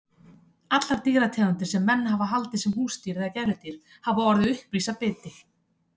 Allar dýrategundir sem menn hafa haldið sem húsdýr eða gæludýr hafa orðið uppvís af biti.